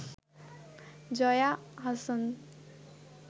Jaya Ahsan